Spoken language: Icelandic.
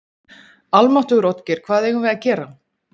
Almáttugur, Oddgeir, hvað eigum við að gera?